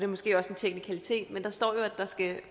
måske også en teknikalitet at der står at der skal